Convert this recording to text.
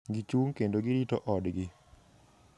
Gichung' kendo girito odgi.